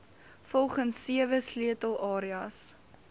volgens sewe sleutelareas